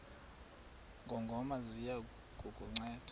ngongoma ziya kukunceda